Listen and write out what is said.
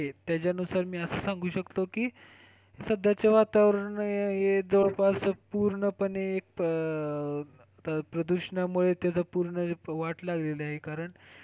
त्यानुसार मी असं सांगू शकतो की, सध्याचे वातावरण हे जवळपास पूर्णपणे प्रदूषणामुळे त्याचा पुर्ण वाट लागलेली आहे कारण,